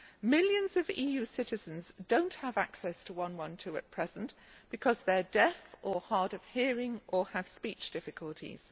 Millions of EU citizens do not have access to 112 at present because they are deaf or hard of hearing or have speech difficulties.